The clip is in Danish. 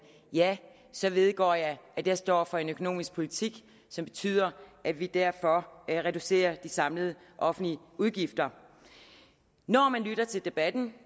ja så vedgår jeg at jeg står for en økonomisk politik som betyder at vi derfor reducerer de samlede offentlige udgifter når man lytter til debatten